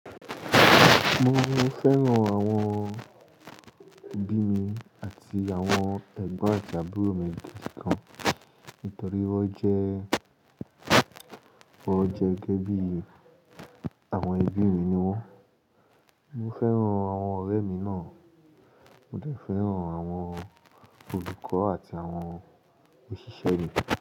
Mo máa ń fẹ́ràn àwọn ẹbí mi àti àwọn ẹ̀gbọ́n àti àbúrò mi jù kan nítorí wọ́n jẹ́, wọ́n jẹ́ gẹ́gẹ́ bí àwọn ẹbí mi ni wọ́n. Mo fẹ́ràn àwọn ọ̀rẹ́ mi náà, mo dẹ̀ fẹ́ràn àwọn olùkọ́ àti àwọn òṣìṣẹ́ mi.